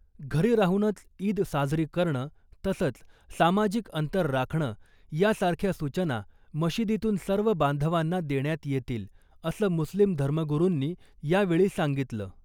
घरी राहूनच ईद साजरी करणं , तसंच सामाजिक अंतर राखणं यासारख्या सूचना मशिदीतून सर्व बांधवांना देण्यात येतील , असं मुस्लिम धर्मगुरुंनी यावेळी सांगितलं .